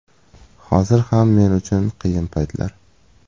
Hozir ham men uchun qiyin paytlar.